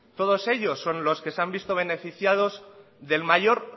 todos ellos son los que se han visto beneficiados del mayor